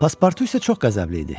Pasportu isə çox qəzəbli idi.